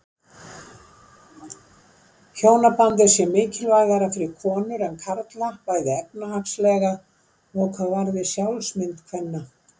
Hjónabandið sé mikilvægara fyrir konur en karla bæði efnahagslega og hvað varði sjálfsmynd kvenna.